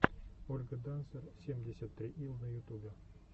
ольга дансер семьдесят три ил на ютубе